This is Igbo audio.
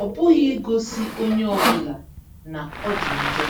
ọ bụghị igosi onye ọ bụla na ọ dị njọ.